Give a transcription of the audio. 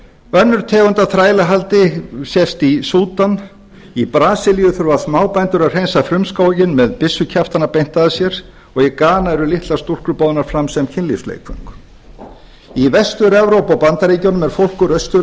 önnur tegund af þrælahaldi sést í súdan í brasilíu þurfa smábændur að hreinsa frumskóginn með byssukjaftana beint að sér og í gana eru litlar stúlkur boðnar fram sem kynlífsleikföng í vestur evrópu og bandaríkjunum er fólk úr austur